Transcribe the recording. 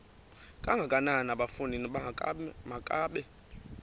kangakanana bafondini makabe